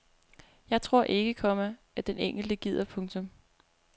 Jeg tror ikke, komma at den enkelte gider. punktum